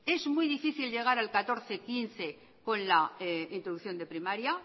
es muy difícil llegar al catorce quince con la introducción de primaria